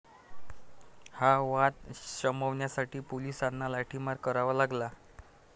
हा वाद शमवण्यासाठी पोलिसांना लाठीमार करावा लागला.